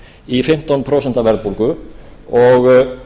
í fimmtán prósent verðbólgu og